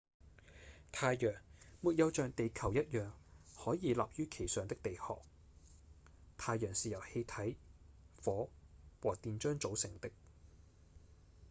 太陽沒有像地球一樣可以立於其上的地殼太陽是由氣體、火和電漿組成的